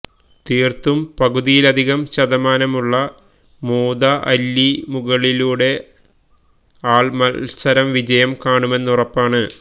തീര്ത്തും പകുതിയിലധികം ശതമാനമുള്ള മുതഅല്ലിമുകളിലൂടെ വഅള് മത്സരം വിജയം കാണുമെന്നുറപ്പാണ്